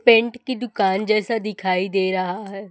Paint की दुकान जैसा दिखाई दे रहा है।